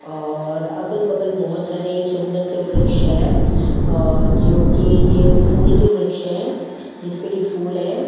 और अगल बगल बहुत सारे सुंदर वृक्ष है जो की जो फूल के वृक्ष है जिसपे की फूल है।